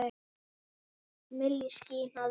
Milli ský- hnoðra.